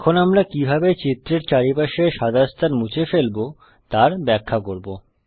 এখন আমরা কিভাবে চিত্রের চারপাশের সাদা স্থান মুছে ফেলবো তার ব্যাখ্যা করব